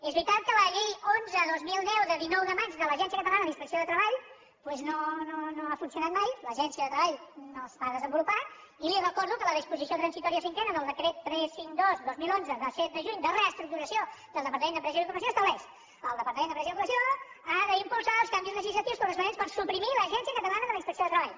és veritat que la llei onze dos mil deu de dinou de maig de l’agència catalana d’inspecció de treball doncs no ha funcionat mai l’agència de treball no es va desenvolupar i li recordo que la disposició transitòria cinquena del decret tres cents i cinquanta dos dos mil onze de set de juny de reestructuració del departament d’empresa i ocupació estableix el departament d’empresa i ocupació ha d’impulsar els canvis legislatius corresponents per suprimir l’agència catalana de la inspecció de treball